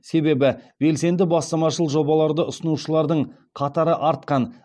себебі белсенді бастамашыл жобаларды ұсынушылардың қатары артқан